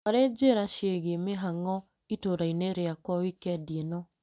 Olĩ njĩra ciĩgiĩ mihang'o itũra-inĩ rĩakwa wikendi ĩno .